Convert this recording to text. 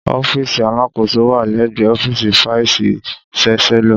Ọfísì àlasoko wà lẹgbẹ ọfísì fàísì ṣàsẹlọ.